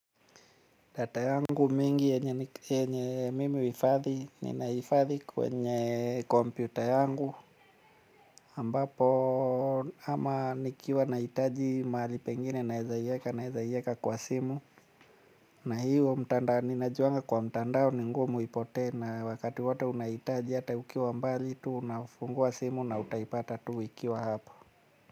Data yangu mingi yenye mimi huhifadhi, ninahifadhi kwenye kompyuta yangu ambapo ama nikiwa nahitaji mahali pengine naweza iweka, naweza iweka kwa simu. Na hiyo mtandao, ninajuanga kwa mtandao ni ngumu ipote na wakati wote unaitaji hata ukiwa mbali, tu unafungua simu na utaipata tu ikiwa hapo.